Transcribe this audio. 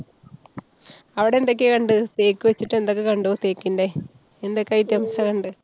അവിടെ എന്തൊക്യാ കണ്ടേ? തേക്ക് വെച്ചിട്ട് എന്തൊക്കെ കണ്ടു, തേക്കിന്‍ടെ? എന്തൊക്കെ items ആ കണ്ടേ?